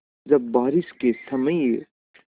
जब बारिश के समय